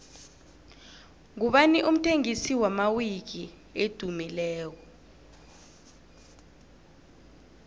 ngubani umthengisi wamawiki edumileko